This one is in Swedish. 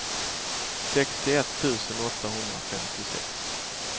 sextioett tusen åttahundrafemtiosex